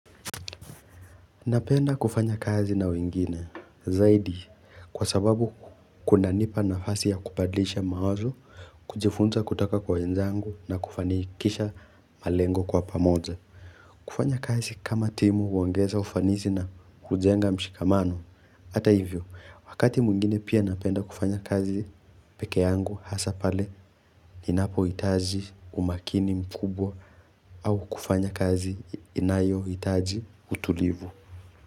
Napenda kufanya kazi na wengine, zaidi, kwa sababu kunanipa nafasi ya kupadlisha mawazo, kujifunza kutaka kwa wenzangu na kufanikisha malengo kwa pamoja. Kufanya kazi kama timu huongeza ufanisi na hujenga mshikamano, ata hivyo, wakati mwingine pia napenda kufanya kazi peke yangu, hasa pale ninapohitaji umakini mkubwa au kufanya kazi inayohitaji utulivu.